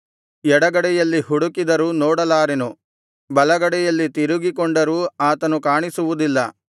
ಎಡಗಡೆಯಲ್ಲಿ ಹುಡುಕಿದರೂ ನೋಡಲಾರೆನು ಬಲಗಡೆಗೆ ತಿರುಗಿಕೊಂಡರೂ ಆತನು ಕಾಣಿಸುವುದಿಲ್ಲ